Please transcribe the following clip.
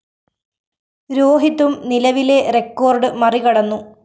രോഹിതും നിലവിലെ റെക്കോർഡ്‌ മറികടന്നു